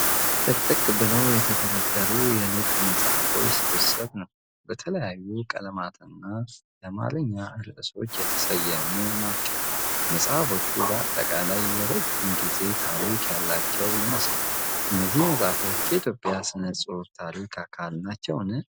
ጥቅጥቅ ብለው የተደረደሩ የልብ መጽሐፎች ስብስብ ነው። በተለያዩ ቀለማትና የአማርኛ ርዕሶች የተሰየሙ ናቸው። መጽሐፎቹ በአጠቃላይ የረጅም ጊዜ ታሪክ ያላቸው ይመስላል። እነዚህ መጽሐፎች የኢትዮጵያ ሥነ ጽሑፍ ታሪክ አካል ናቸው?